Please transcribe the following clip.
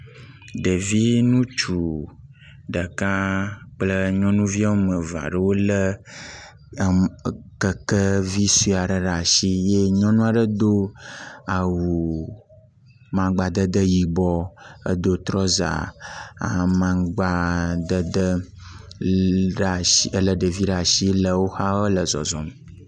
Ɖevi ŋutsu ɖeka kple nyɔnuvi woame eve aeɖwo wolé keke vi sue aɖe ɖe asi eye nyɔnu aɖe do awu magbadede yibɔ, edo trɔza amaŋgbadede ʋi da shi, le ɖevi le zɔzɔm.